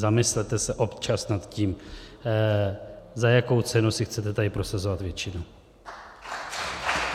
Zamyslete se občas nad tím, za jakou cenu si chcete tady prosazovat většinu.